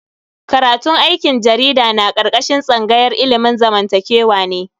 Karatun aikin jarida na karkashin tsangayar ilimin zamantakewa ne.